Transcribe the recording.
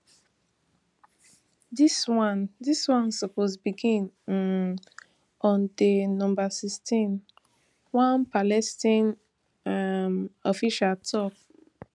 dis one dis one suppose begin um on day number sixteen one palestin um official tok